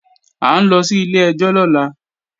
À ń lọ sí ilé-ẹjọ́ lọ́la